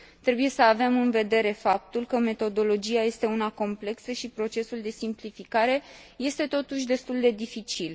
Trebuie să avem în vedere faptul că metodologia este una complexă și procesul de simplificare este totuși destul de dificil.